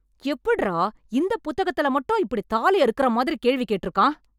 எப்டுறா இந்த புத்தகத்துல மட்டும் இப்படி தாலி அறுக்கற மாதிரி கேள்வி கேட்டுருக்கான்